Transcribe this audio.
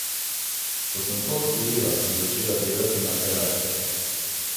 Ko sem to osvojila, sem začela delati na kreacijah.